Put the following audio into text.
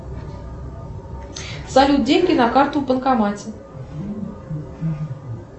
салют деньги на карту в банкомате